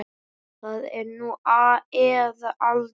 Það er nú eða aldrei.